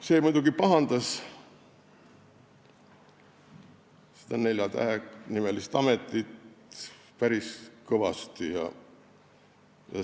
See muidugi pahandas seda neljatähelist ametit päris kõvasti.